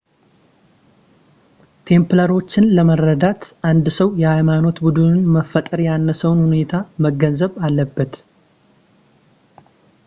ቴምፕላሮችን ለመረዳት አንድ ሰው የሃይማኖት ቡድኑን መፈጠር ያነሳሳውን ሁኔታ መገንዘብ አለበት